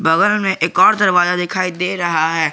बगल में एक और दरवाजा दिखाई दे रहा है।